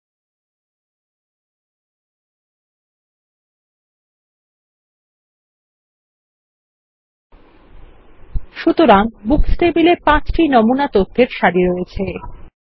সুতরাং books table এ ৫ টি নমুনা তথ্যের সারি আছে